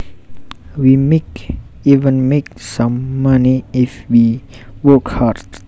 We might even make some money if we work hard